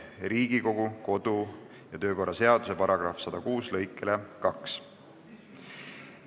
Riigikogu kodu- ja töökorra seaduse § 106 lõike 2 kohaselt ei kuulu ettepanek hääletamisele.